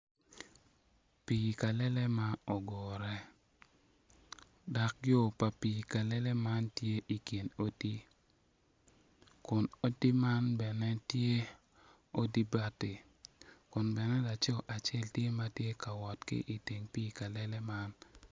Pii kalele ma ogure dok yo pa pii kalele man tye i kin odi kun odi man bene tye odi bati kun bene laco acel tye ma tye ka wot ki iteng pii kalele man.